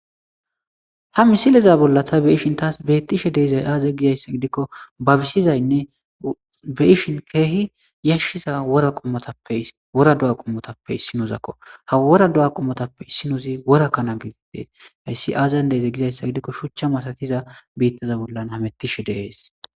ha misileza bolla ta be ishin taas beettishe deizay aaza gizayssa gidikko babisizaynne be ishin keehi yashshiza aqmoapewora du7a qommotappe issinozakko ha wora do7a qommotappe issinozi worakkana gididees hayssi aazayn deeze gizayssa gidikko shuchcha matatiza biittaza bollan hamettishe deees